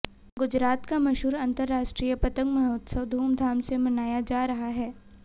गुजरात का मशहूर अंतर्राष्ट्रीय पतंग महोत्सव धूमधाम से मनाया जा रहा है